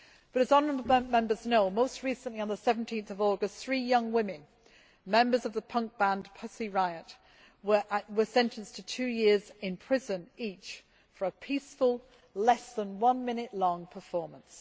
As honourable Members know, most recently, on 17 August, three young women, members of the punk band Pussy Riot', were sentenced to two years in prison each for a peaceful, less than one minute long performance.